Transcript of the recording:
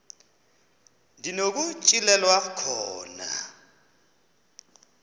ndi nokutyhilelwa khona